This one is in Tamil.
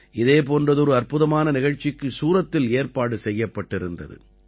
இதே போன்றதொரு அற்புதமான நிகழ்ச்சிக்கு சூரத்தில் ஏற்பாடு செய்யப்பட்டிருந்தது